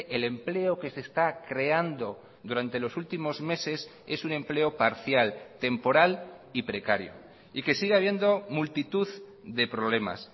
el empleo que se está creando durante los últimos meses es un empleo parcial temporal y precario y que sigue habiendo multitud de problemas